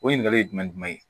O ɲininkali ye jumɛn ye